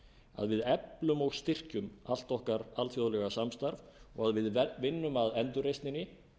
að við eflum og styrkjum allt okkar alþjóðlega samstarf og að við vinnum að endurreisninni